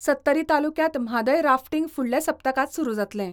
सत्तरी तालुक्यांत म्हादय राफ्टींग फुडल्या सप्तकांत सुरू जातलें.